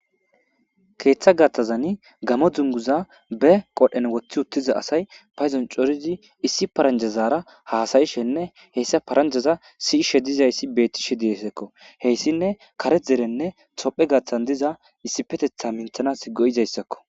keeththa gathazani gamo dunguza be qodhen woththi uttiza asay payzon corizi issi paranjazaara haasayishenne heyssa paranjaza siishe dizayssi beettishe diesekko heyssinne kare derenne tophe gaththan diza issi petetha minthanas go7izayssakko